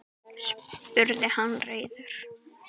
spurði hann reiður.